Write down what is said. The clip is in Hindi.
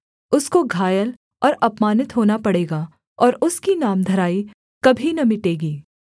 उसको घायल और अपमानित होना पड़ेगा और उसकी नामधराई कभी न मिटेगी